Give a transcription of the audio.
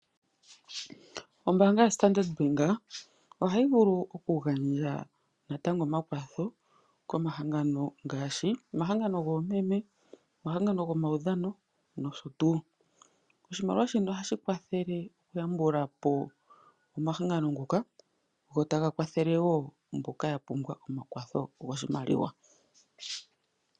Ombaanga yoStandard bank ohayi vulu oku gandja natango omakwatho komahangano ngaashi: omahangano goomeme, omahangano gomaudhano nosho tuu. Oshimaliwa shino ohashi kwathele oku yambulapo omahangano ngoka, go taga kwathele woo mboka ya pumbwa omakwatho goshimaliwa.